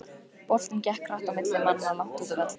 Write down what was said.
Boltinn gekk hratt á milli manna langt úti á velli.